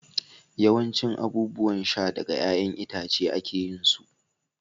yawancin abubuwan sha daga 'ya'yan itace ake yin su